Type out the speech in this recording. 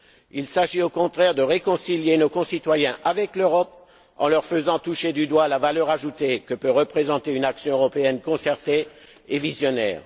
Il s'agit au contraire de réconcilier nos concitoyens avec l'Europe en leur faisant toucher du doigt la valeur ajoutée que peut représenter une action européenne concertée et visionnaire.